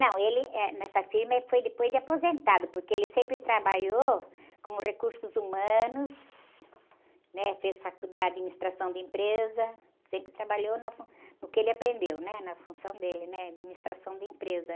Não, ele, eh, nessa firma ele foi depois de aposentado, porque ele sempre trabalhou como recursos humanos, né? Fez faculdade de administração de empresa, sempre trabalhou na fun, no que ele aprendeu, né? Na função dele, né? Administração de empresa.